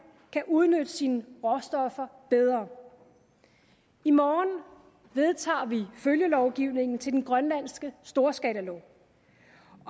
kan udnytte sine råstoffer bedre i morgen vedtager vi følgelovgivningen til den grønlandske storskalalov